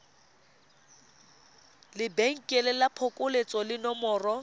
lebenkele la phokoletso le nomoro